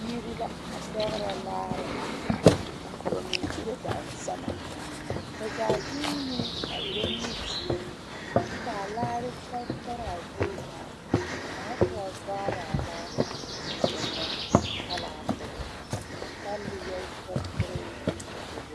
Biiri la a pɛɡrɛ laare ka ba mine uro dansama ba zaa zuunee a erɛ nimizeɛ kyɛ kaa laare tɛretɛre a zie zaa ka kaŋa soba vaara a laare a ennɛ talaa poɔ a tale yɛ tɛrtɛrɛɛ a davoro.